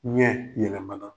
Ɲɛ yɛlɛmana.